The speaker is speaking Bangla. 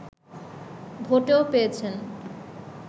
ভোটও পেয়েছেন